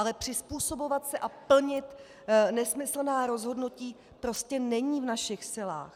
Ale přizpůsobovat se a plnit nesmyslná rozhodnutí prostě není v našich silách.